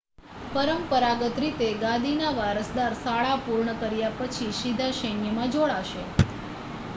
પરંપરાગત રીતે ગાદીના વારસદાર શાળા પૂર્ણ કર્યા પછી સીધા સૈન્યમાં જોડાશે